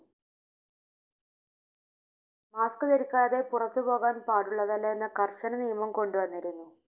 Mask ധരിക്കാതെ പുറത്തു പോകാൻപാടുള്ളതല്ല എന്ന കർശന നിയമം കൊണ്ടുവന്നിരുന്നു.